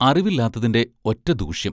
അറിവില്ലാത്തതിന്റെ ഒറ്റ ദൂഷ്യം!